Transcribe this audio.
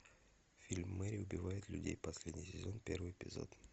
фильм мэрри убивает людей последний сезон первый эпизод